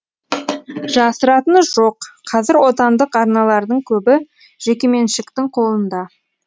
жасыратыны жоқ қазір отандық арналардың көбі жекеменшіктің қолында